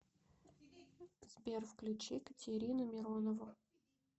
сбер включи катерину миронову